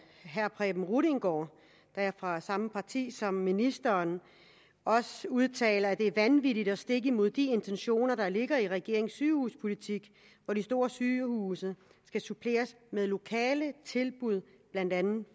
herre preben rudiengaard der er fra samme parti som ministeren også udtaler at det er vanvittigt og stik imod de intentioner der ligger i regeringens sygehuspolitik hvor de store sygehuse skal suppleres med lokale tilbud blandt andet